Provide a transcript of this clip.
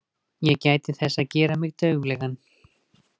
Ég gæti þess að gera mig dauflegan.